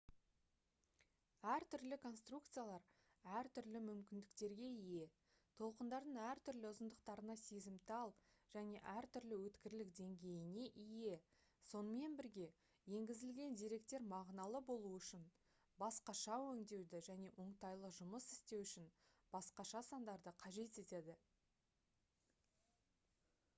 әр түрлі конструкциялар әртүрлі мүмкіндіктерге ие толқындардың әртүрлі ұзындықтарына сезімтал және әртүрлі өткірлік деңгейіне ие сонымен бірге енгізілген деректер мағыналы болуы үшін басқаша өңдеуді және оңтайлы жұмыс істеу үшін басқаша сандарды қажет етеді